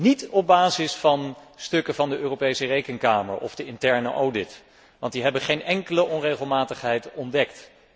Niet op basis van stukken van de Europese Rekenkamer of de interne audit, want die hebben geen enkele onregelmatigheid ontdekt.